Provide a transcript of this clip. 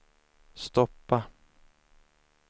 stoppa